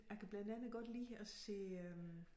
Jeg kan blandt andet godt lide at se øh